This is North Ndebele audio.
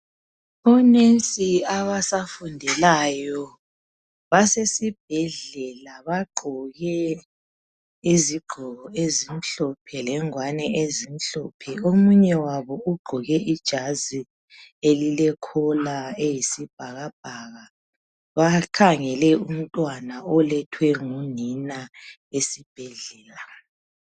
Onesi abasafundelayo basesibhedlela. Bagqoke izigqoko ezimhlophe lenguwani ezimhlophe. Omunye wabo ugqoke ijazi elilekhola eyisibhakabhaka bakhangele umntwana olethwe ngunina esibhedlela.